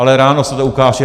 Ale ráno se to ukáže.